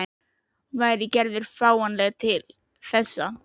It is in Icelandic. Og væri Gerður fáanleg til þess?